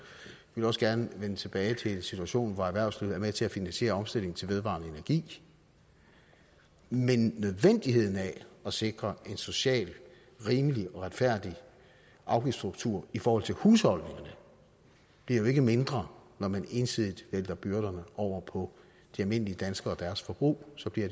vil også gerne vende tilbage til en situation hvor erhvervslivet er med til at finansiere omstillingen til vedvarende energi men nødvendigheden af at sikre en socialt rimelig og retfærdig afgiftsstruktur i forhold til husholdningerne bliver jo ikke mindre når man ensidigt vælter byrderne over på de almindelige danskere og deres forbrug så bliver